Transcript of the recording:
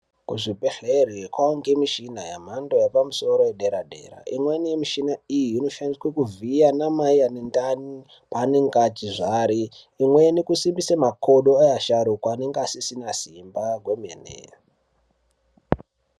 Kuzvibhedhlera kwaunhe mishina yemhando yepamusoro yedera dera, imweni mishina iyi inoshandiswe kuvhiya ana mai ane ndani paanenge achizvari, imweni kusimbise makodo neasharukwa anenge asisina Simba kwemene.